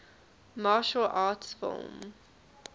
martial arts film